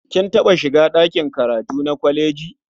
Kin taɓa shiga ɗaki karatu na kwaleji?